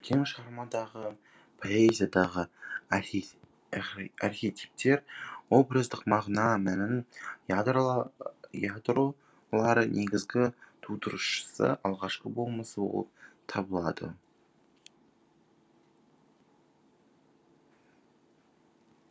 көркем шығармадағы поэзиядағы архетиптер образдықмағына мәннің ядролары негізгі тудырушысы алғашқы болмысы болып табылады